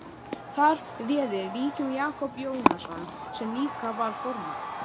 Þar réði ríkjum Jakob Jónasson sem líka var formaður